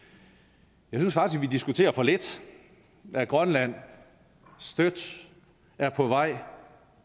jeg synes faktisk vi diskuterer for lidt at grønland støt er på vej